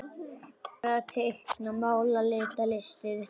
Föndra- teikna- mála- lita- listir